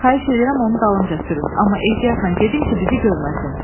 Xahiş eləyirəm onu dalınca sürün, amma ehtiyatla gedin ki, bizi görməsin.